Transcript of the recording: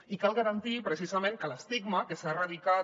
i cal garantir precisament que l’estigma que s’ha erradicat